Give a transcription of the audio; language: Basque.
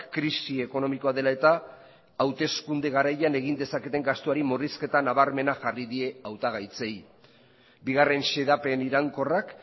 krisi ekonomikoa dela eta hauteskunde garaian egin dezaketen gastuari murrizketa nabarmena jarri die hautagaitzei bigarren xedapen iraunkorrak